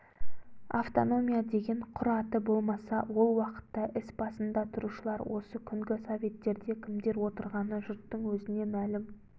автономия деген құр аты болмаса ол уақытта іс басында тұрушылар осы күнгі советтерде кімдер отырғаны жұрттың өзіне мәлім